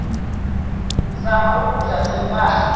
zama ukukudla sekubanda